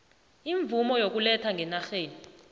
imvumo yokuletha ngenarheni